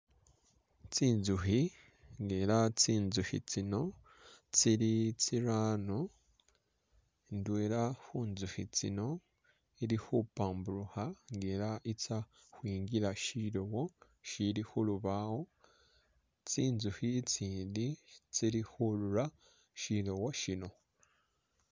Tsintsukhi nga elah tsintsukhi tsino tsili tsirano indwela khuntsukhi tsino ili khupamburukha nga elah i'tsa ukhwingila shilowo shili khulubawo elah tsintsukhi tsiitsindi tsili khurura shilowo shino